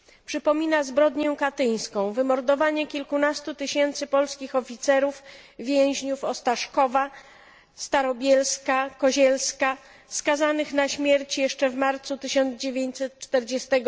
Przypomina zbrodnię katyńską, wymordowanie kilkunastu tysięcy polskich oficerów więźniów Ostaszkowa, Starobielska, Kozielska skazanych na śmierć jeszcze w marcu 1940